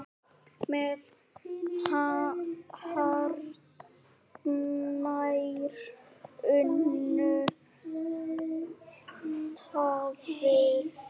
með hartnær unnu tafli.